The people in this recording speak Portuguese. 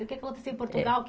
O que aconteceu em Portugal que?